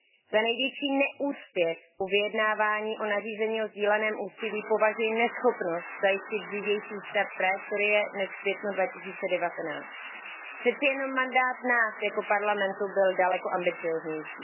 Za největší neúspěch u vyjednávání o nařízení o sdíleném úsilí považuji neschopnost zajistit dřívější start trajektorie než v květnu 2019. Přeci jenom mandát nás jako Parlamentu byl daleko ambicióznější.